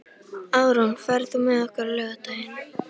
Árún, ferð þú með okkur á laugardaginn?